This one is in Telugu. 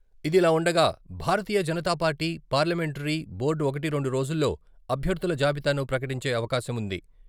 ఇదిలా ఉండగా, భారతీయ జనతాపార్టీ పార్లమెంటరీ బోర్డు ఒకటి, రెండు రోజుల్లో అభ్యర్ధుల జాబితాను ప్రకటించే అవకాశం ఉంది.